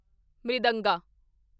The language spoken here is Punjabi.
ਮ੍ਰਿਦੰਗਾ